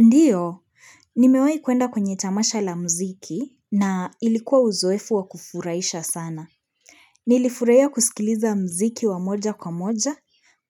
Ndiyo, nimewai kuenda kwenye tamasha la muziki na ilikuwa uzoefu wa kufurahisha sana. Nilifurahia kusikiliza muziki wa moja kwa moja,